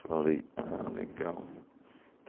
Falei, ah, legal.